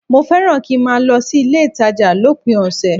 Mo fẹ́ràn kí n máa lọ sí ilé-ìtàjà lópin ọ̀sẹ̀